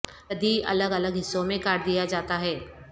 گدی الگ الگ حصوں میں کاٹ دیا جاتا ہے